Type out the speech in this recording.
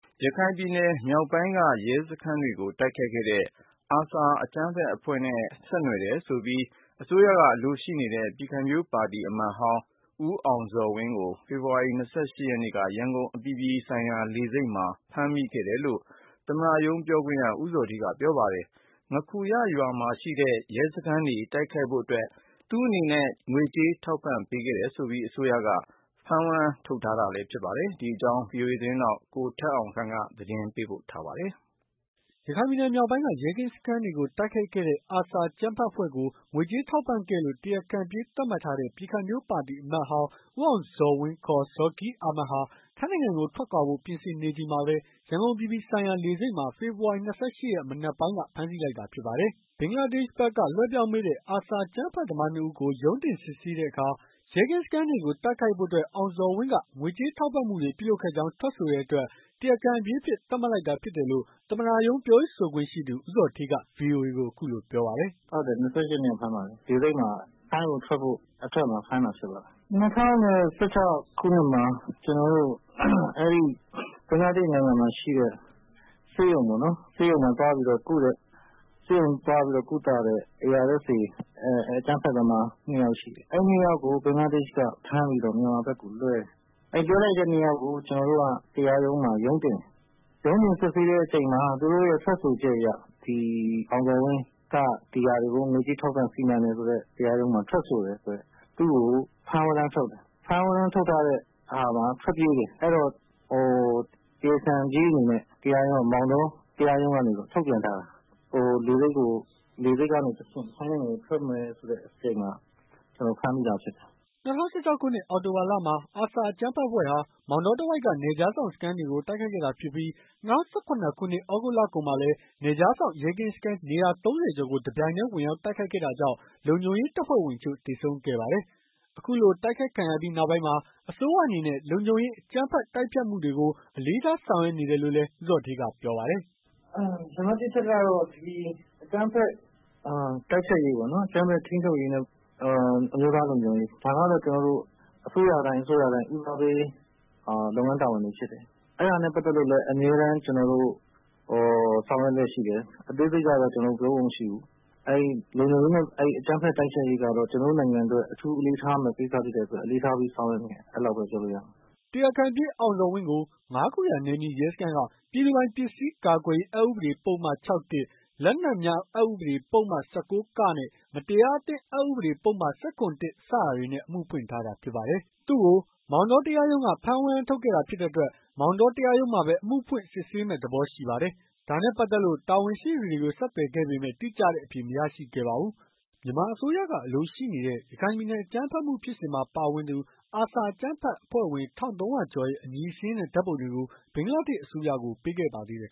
ရခိုင်ပြည်နယ်မြောက်ပိုင်းက ရဲစခန်းတွေကို ARSA အကြမ်းဖက် အဖွဲ့က တိုက်ခိုက်မှုနဲ့ ဆက်နွယ်ပြီး အစိုးရက အလိုရှိနေတဲ့ ပြည်ခိုင်ဖြိုးပါတီ အမတ်ဟောင်း ဦးအောင်ဇော်ဝင်းကို ဖေဖော်ဝါရီလ ၂၈ ရက်နေ့က ရန်ကုန်အပြည်ပြည်ဆိုင်ရာ လေဆိပ်မှာဖမ်းမိခဲ့တယ်လို့ သမ္မတရုံးပြောရေးဆိုခွင့်ရှိသူ ဦးဇော်ဌေးက ပြောပါတယ်။ ငါးခူရရွာမှာရှိတဲ့ ရဲကင်းစခန်းတွေ တိုက်ခိုက်ဖို့အတွက် သူ့အနေနဲ့ ငွေကြေးထောက်ပံ့ပေးတယ်ဆိုပြီး အစိုးရက ဖမ်းဝရမ်းထုတ်ထားတာ ဖြစ်ပါတယ်။ ဒီအကြောင်းကို ဗွီအိုအေ မြန်မာပိုင်းသတင်းထောက် ကိုထက်အောင်ခန့်က သတင်းပေးပို့ထားပါတယ်။ ရခိုင်ပြည်နယ်မြောက်ပိုင်းက ရဲကင်းစခန်းတွေကို တိုက်ခိုက်ခဲ့တဲ့ ARSA အကြမ်းဖက် အဖွဲ့ကို ငွေကြေးထောက်ပံ့ပေးခဲ့လို့ တရားခံပြေး သတ်မှတ်ထားတဲ့ ပြည်ခိုင်ဖြိုးပါတီ အမတ်ဟောင်း ဦးအောင်ဇော်ဝင်းကို ဇော်ကိရ်အာမက် ဟာ ထိုင်းနိုင်ငံကို ထွက်ခွာဖို့ ပြင်ဆင်နေချိန်မှာပဲ ရန်ကုန်အပြည်ပြည်ဆိုင်ရာ လေဆိပ်မှာ ဖေဖော်ဝါရီ ၂၈ ရက် မနက်ပိုင်းက ဖမ်းဆီးလိုက်တာ ဖြစ်ပါတယ်။ ဘင်္ဂလားဒေ့ရှ်ဘက်က လွှဲပြောင်းပေးတဲ့ ARSA အကြမ်းဖက်သမား နှစ်ဦးကို ရုံးတင် စစ်ဆေးတဲ့အခါ ရဲကင်းစခန်းတွေကို တိုက်ခိုက်ဖို့အတွက် အောင်ဇော်ဝင်းက ငွေးကြေးထောက်ပံ့မှုတွေ ပြုလုပ်ခဲ့ကြောင်း ထွက်ဆိုတဲ့အတွက် တရားခံပြေးအဖြစ် သတ်မှတ်လိုက်တာ ဖြစ်တယ်လို့ သမ္မတရုံး ပြောရေးဆိုခွင့်ရှိသူ ဦးဇော်ဌေးက ဗွီအိုအေကို အခုလို ပြောပါတယ်။ "ဟုတ်တယ်။ ၂၈ ရက်နေ့က ဖမ်းပါတယ်။ လေဆိပ်မှာ ထိုင်းကိုထွက်ဖို့အထွက်မှာ ဖမ်းတာဖြစ်ပါတယ်။ ၂၀၁၆ ခုနှစ်မှာ ကျွန်တော်တို့အဲ့ဒီ ဘင်္ဂလားဒေ့ရှ် နိုင်ငံမှာရှိတဲ့ ဆေးရုံပေါ့နော်။ ဆေးရုံမှာသွားပြီးတော့ကုတဲ့ ဆေးရုံသွားပြီးကုသတဲ့ ARSA အကြမ်းဖက်သမား နှစ်ယောက်ရှိတယ်။ အဲ့ ၂ ယောက်ကို ဘင်္ဂလားဒေ့ရှ်က ဖမ်းပြီးတော့ မြန်မာဘက်ကိုလွှဲတယ်။ လွှဲလိုက်တဲ့ ၂ ယောက်ကို ကျွန်တော်တို့က တရားရုံးမှာ ရုံးတင်တယ်။ ရုံးတင်စစ်ဆေးတဲ့အခါ သူတို့ရဲ့ထွက်ဆိုချက်အရ ဒီအောင်ဇော်ဝင်းက ဒီဟာတွေကို ငွေကြေးထောက်ပံ့စီမံတယ်ဆိုတဲ့ တရားရုံးမှာထွက်ဆိုတယ်။ သူ့ကိုဖမ်းဝရမ်းထုတ်တယ်။ ဖမ်းဝရမ်းထုတ်ထားတဲ့ဟာမှာ ထွက်ပြေးတယ်။ အဲ့တော့တရားခံပြေးအနေနဲ့ မောင်တောတရားရုံးကနေပြီးတော့ ထုတ်ပြန်ထားတာ။ ဟိုလေဆိပ်ကို လေဆိပ်ကနေတဆင့် ထိုင်းကို ထွက်မယ်ဆိုတဲ့အချိန်မှာ ဖမ်းမိတာဖြစ်တာ။" ၂၀၁၆ ခုနှစ် အောက်တိုဘာလမှာ ARSA အကြမ်းဖက်အဖွဲ့ဟာ မောင်တောတဝိုက်က နယ်ခြားစောင့် စခန်းတွေကို တိုက်ခိုက်ခဲ့တာဖြစ်ပြီး ၂၀၁၇ ခုနှစ် သြဂုတ်လကုန်မှာလည်း နယ်ခြားစောင့် ရဲကင်းစခန်း နေရာ ၃၀ ကျော်ကို တပြိုင်နက်ထဲ ဝင်ရောက်တိုက်ခိုက်ခဲ့တာကြောင့် လုံခြုံရေး တပ်ဖွဲ့ဝင်အချို့ သေဆုံးခဲ့ပါတယ်။ အခုလို တိုက်ခိုက်ခံရပြီး နောက်ပိုင်းမှာ အစိုးရအနေနဲ့ လုံခြုံရေး အကြမ်းဖက်တိုက်ဖျက်မှုတွေကို အလေးထား ဆောင်ရွက်နေတယ်လို့လည်း ဦးဇော်ဌေးက ပြောပါတယ်။ "နံပတ် ၁ အချက်က အကြမ်းဖက်တိုက်ဖျက်ရေးပေါ့နော်။ အကြမ်းဖက်ထိန်းချုပ်ရေးနဲ့ အမျိုးသားလုံခြုံရေး ဒါကတော့ ကျွန်တော်တို့အစိုးရတိုင်း အစိုးရတိုင်း ဦးစားပေးလုပ်ငန်းတာဝန်တွေဖြစ်တယ်။ အဲ့ဒါနဲ့ပတ်သက်လို့လည်း အမြဲတမ်းကျွန်တော်တို့ ဆောင်ရွက်လျက်ရှိတယ်။ အသေးစိတ်ကတော့ ကျွန်တော်တို့ပြောဖို့မရှိဘူး။ အဲ့လုံခြုံရေးနဲ့ အဲ့အကြမ်းဖက်တိုက်ဖျက်ရေးကတော့ ကျွန်တော်တို့နိုင်ငံအတွက် အထူးအလေးထား ကိစ္စဖြစ်တဲ့အတွက် အလေးထားပြီးဆောင်ရွက်နေတယ်။" တရားခံပြေးအောင်ဇော်ဝင်းကို ငါးခူရနယ်မြေရဲစခန်းက ပြည်သူပိုင်ပစ္စည်း ကာကွယ်ရေး အက်ဥပဒေပုဒ်မ ၆ ၊ လက်နက်များအက် ဥပဒေပုဒ်မ ၁၉ မတရားအသင်းအက်ပုဒ်မ ၁၇ စတာတွေနဲ့ အမှုဖွင့်ထားတာဖြစ်ပါတယ်။ သူ့ကို မောင်တောတရားရုံးက ဖမ်းဝရမ်းထုတ်ခဲ့တာ ဖြစ်တဲ့အတွက် မောင်တော တရားရုံးမှာပဲ အမှုဖွင့်စစ်ဆေးမယ့် သဘောရှိပါတယ်။ ဒါနဲ့ပတ်သက်လို့ တာဝန်ရှိသူတွေကို ဆက်သွယ်ခဲ့ပေမယ့် တိကျတဲ့အဖြေ မရရှိခဲ့ပါဘူး။ မြန်မာအစိုးရက အလိုရှိနေတဲ့ ရခိုင်ပြည်နယ် အကြမ်းဖက်မှု ဖြစ်စဉ်မှာပါဝင်သူ ARSA အကြမ်းဖက်အဖွဲ့ဝင် ၁,၃၀၀ ကျော်ရဲ့ အမည်စာရင်းနဲ့ ဓာတ်ပုံတွေကို ဘင်္ဂလားဒေ့ရှ် အစိုးရကို ပေးခဲ့ပါသေးတယ်